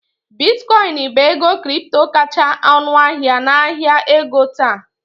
Bitcoin bụ ego kripto kacha ọnụahịa n'ahịa ego taa